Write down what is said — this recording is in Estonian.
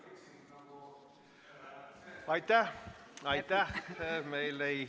Meil ei ole sellist diskussiooni kahjuks saalis ...